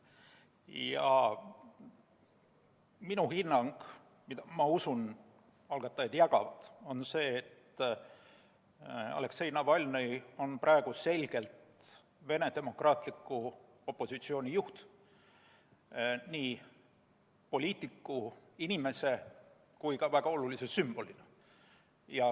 Ja minu hinnang, mida, ma usun, algatajad jagavad, on see, et Aleksei Navalnõi on praegu selgelt Venemaa demokraatliku opositsiooni juht nii poliitiku, inimese kui ka väga olulise sümbolina.